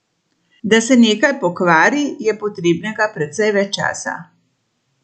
Da se nekaj pokvari, je potrebnega precej več časa.